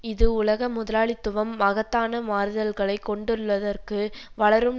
இது உலக முதலாளித்துவம் மகத்தான மாறுதல்களை கொண்டுள்ளதற்கு வளரும்